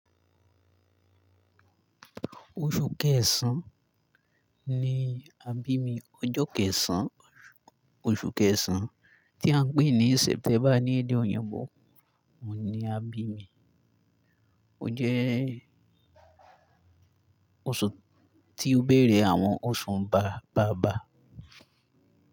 Oṣù Kẹsàn-án ni àbími. Ọjọ́ kẹsàn-án, oṣù kẹsàn-án tí à ń pè ní Sẹ́ptember ní èdè Òyìnbó ni àbími. O jẹ́ oṣù tí ó béèrè àwọn oṣù bàbá bàbá.